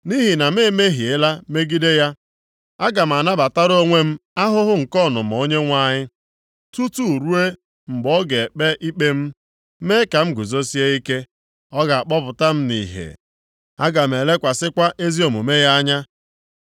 Nʼihi na m emehiela megide ya, aga m anabatara onwe m ahụhụ nke ọnụma Onyenwe anyị, tutu ruo mgbe ọ ga-ekpe ikpe m, mee ka m guzosie ike. Ọ ga-akpọpụta m nʼìhè; aga m elekwasịkwa ezi omume ya anya.